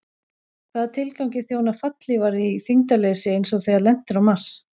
Hvaða tilgangi þjóna fallhlífar í þyngdarleysi eins og þegar lent er á Mars?